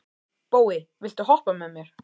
Bói, viltu hoppa með mér?